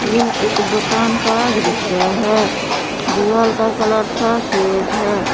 यह एक दुकान का दृश्य है दिवाल का कलर सफेद है।